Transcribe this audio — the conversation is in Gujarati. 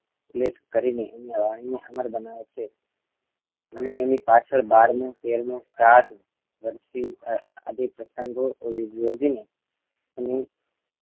Plate કરીને એની વાણીને અમર બનાવે છે અને એની પાછળ બારમું તેરમું શ્રાદ્ધ બર્સી આદિ પ્રસંગો યોજી એની